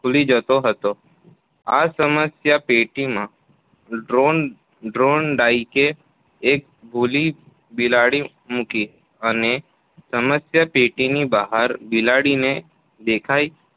ખૂલી જતો હતો. આ સમસ્યાપેટીમાં થોર્નડાઈ એક ભૂખી બિલાડી મૂકી અને સમસ્યાપેટીની બહાર બિલાડીને દેખાય